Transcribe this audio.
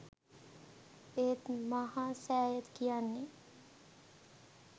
ඒත් මහා සෑය කියන්නේ